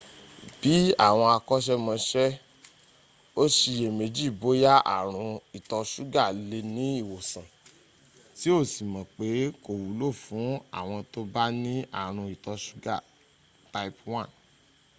bí àwọn àkọ́ṣẹ́mọṣẹ́ ó ṣiyèméjì bóyá àrùn ìtọ ṣúgá lè ní ìwòsàn tí ó sì mọ̀ pé kò wúlò fún àwọn tó bá ní àrùn ìtọ ṣúgá type 1